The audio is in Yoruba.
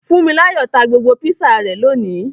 Funmilayo ta gbogbo Písà rẹ lóni.